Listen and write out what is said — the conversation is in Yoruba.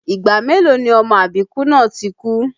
Ìgbà mélòó ni ọmọ àbíkú náà ti kú?